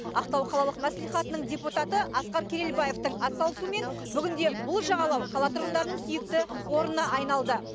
ақтау қалалық мәслихатының депутаты асқар керелбаевтың атсалысуымен бүгінде бұл жағалау қала тұрғындарының сүйікті орнына айналды